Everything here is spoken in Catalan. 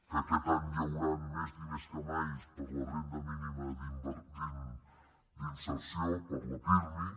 que aquest any hi hauran més diners que mai per a la renda mínima d’inserció per a la pirmi